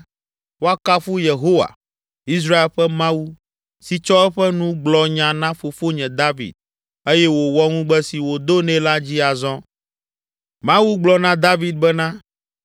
“Woakafu Yehowa, Israel ƒe Mawu, si tsɔ eƒe nu gblɔ nya na fofonye David eye wòwɔ ŋugbe si wòdo nɛ la dzi azɔ. Mawu gblɔ na David bena,